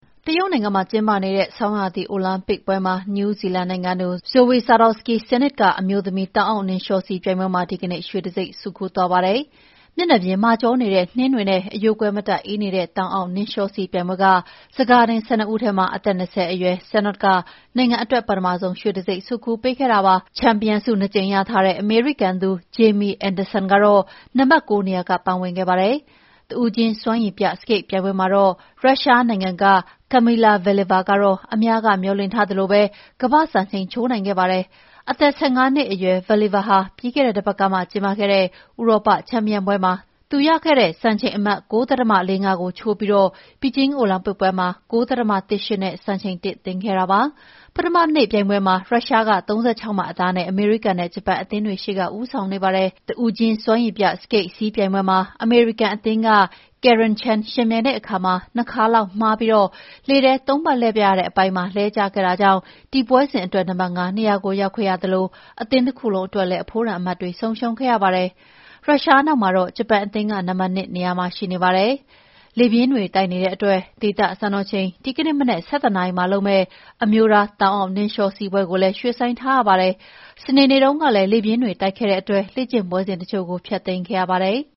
တရုတ်နိုင်ငံမှာ ကျင်းပနေတဲ့ ဆောင်းရာသီ အိုလံပစ်ပွဲမှာ နယူးဇီလန်နိုင်ငံသူ Zoi Sadowski Synnott က အမျိုးသမီး တောင်အောက်နှင်းလျှောစီးပြိုင်ပွဲမှာ ဒီကနေ့ ရွှေတံတဆိပ် ဆွတ်ခူးသွားပါတယ်။ မျက်နှာပြင်မာကြောနေတဲ့ နှင်းတွေနဲ့ အရိုးကွဲမတတ် အေးနေတဲ့ တောင်အောက်နှင်းလျှောစီးပြိုင်ပွဲက ဆန်ကာတင် ၁၂ ဦးထဲမှာ အသက် ၂၀ အရွယ် Synott က နိုင်ငံအတွက် ပထမဆုံး ရွှေတံဆိပ် ဆွတ်ခူးပေးခဲ့တာ ဖြစ်ပါတယ်။ ချန်ပီယံဆု ၂ ကြိမ်ရထားတဲ့ အမေရိကန်သူ Jamie Anderson ကတော့ နံပါတ် ၉ နေရာက ပန်းဝင်ခဲ့ပါတယ်။ တဦးချင်းစွမ်းရည်ပြစကိတ်ပြိုင်ပွဲမှာတော့ ရုရှားနိုင်ငံက Kamila Valieva က အများမျှော်လင့်ထားသလိုပဲ ကမ္ဘာ့စံချိန် ချိုးနိုင်ခဲ့ပါတယ်။ အသက် ၁၅ နှစ်အရွယ် Valieva ဟာ ပြီးခဲ့တဲ့တပတ်ကမှ ကျင်းပခဲ့တဲ့ ဥရောပချန်ပီယံပွဲမှာ သူရခဲ့တဲ့ စံချိန်အမှတ် ၉၀ ဒသမ ၄၅ ကိုချိုးပြီး ဘေဂျင်းအိုလံပစ်ပွဲမှာ ၉၀ ဒသမ ၁၈ နဲ့ စံချိန်သစ်တင်ခဲ့တာပါ။ ပထမနေ့ပြိုင်ပွဲမှာပဲ ရုရှားက ၃၆ မှတ်အသာနဲ့ အမေရိကန်နဲ့ ဂျပန်အသင်းတွေရှေ့က ဦးဆောင်နေပါတယ်။ တဦးချင်းစွမ်းရည်ပြစကိတ်စီးပြိုင်ပွဲမှာ အမေရိကန်အသင်းက Karen Chen ယှဉ်ပြိုင်တဲ့အခါမှာ ၂ ခါလောက်မှားပြီး လေထဲမှာ ၃ ပတ်လှည့်ပြရတဲ့ အပိုင်းမှာ လဲကျခဲ့တာကြောင့် ဒီပွဲစဉ်အတွက် နံပါတ် ၅ နေရာကို ရောက်ခဲ့ရသလို အသင်းတခုလုံး အတွက်လည်း အဖိုးတန်အမှတ်တွေ ဆုံးရှုံးခဲ့ရပါတယ်။ ရုရှားနောက်မှာတော့ ဂျပန်အသင်းက နံပါတ် ၂ မှာ ရှိနေပါတယ်။ လေပြင်းတွေတိုက်နေတဲ့အတွက် ဒေသစံတော်ချိန် ဒီကနေ့မနက် ၁၁ နာရီမှာလုပ်မယ့် အမျိုးသား တောင်အောက်နှင်းလျှောစီးပွဲကိုလည်း ရွှေ့ဆိုင်းထားပါတယ်။ စနေနေ့တုန်းကလည်း လေပြင်းတွေ တိုက်ခဲ့တဲ့အတွက် လေ့ကျင့်ပွဲစဉ်တချို့ ဖျက်သိမ်းခဲ့ရပါတယ်။